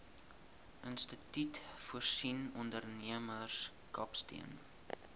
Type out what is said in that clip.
instituut voorsien ondernemerskapsteun